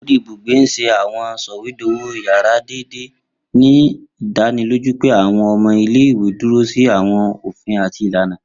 Ori ibugbe n ṣe àwọn sọwedowo yárà deede, ni idaniloju pe àwọn ọmọ ile-iwe duro si àwọn ofin ati ilana.